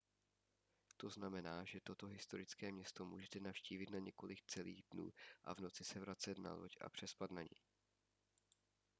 to znamená že toto historické město můžete navštívit na několik celých dnů a v noci se vracet na loď a přespat na ní